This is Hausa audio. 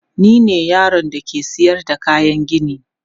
Ni ne yaron da ke sayar da kayan gini.